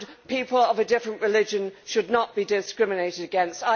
People of a different religion should not be discriminated against.